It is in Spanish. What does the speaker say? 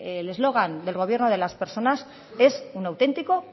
el slogan del gobierno de las personas es un auténtico